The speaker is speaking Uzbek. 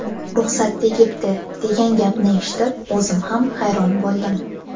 Ruxsat tegibdi, degan gapni eshitib o‘zim ham hayron bo‘ldim.